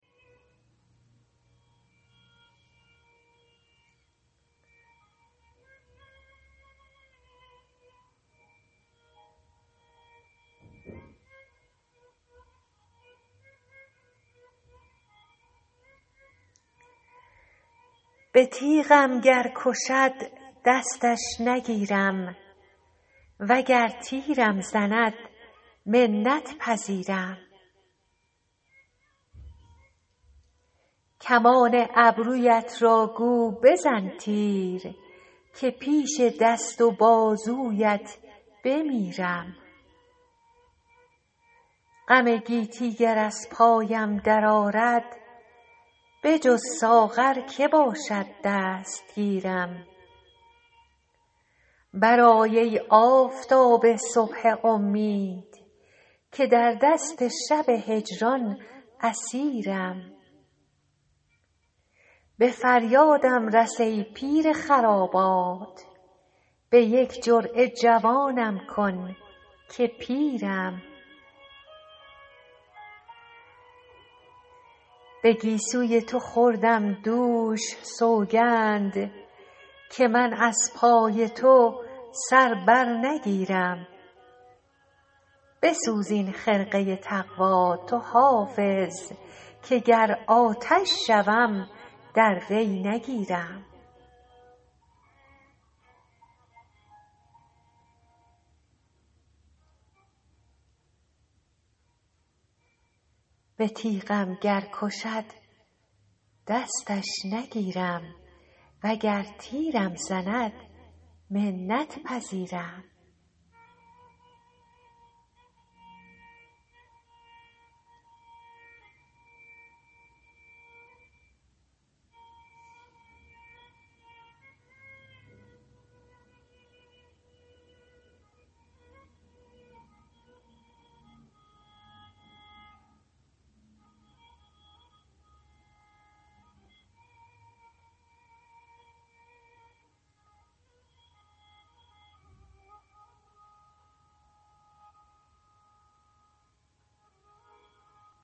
به تیغم گر کشد دستش نگیرم وگر تیرم زند منت پذیرم کمان ابرویت را گو بزن تیر که پیش دست و بازویت بمیرم غم گیتی گر از پایم درآرد بجز ساغر که باشد دستگیرم برآی ای آفتاب صبح امید که در دست شب هجران اسیرم به فریادم رس ای پیر خرابات به یک جرعه جوانم کن که پیرم به گیسوی تو خوردم دوش سوگند که من از پای تو سر بر نگیرم بسوز این خرقه تقوا تو حافظ که گر آتش شوم در وی نگیرم